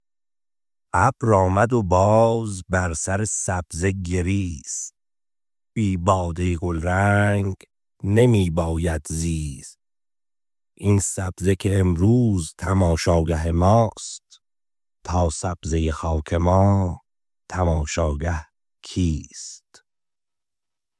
ابر آمد و باز بر سر سبزه گریست بی باده گلرنگ نمی باید زیست این سبزه که امروز تماشاگه ماست تا سبزه خاک ما تماشاگه کیست